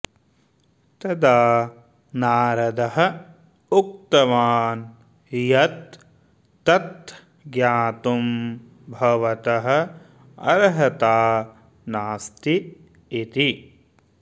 तदा नारदः उक्तवान् यत् तत् ज्ञातुं भवतः अर्हता नास्ति इति